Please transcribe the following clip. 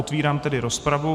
Otvírám tedy rozpravu.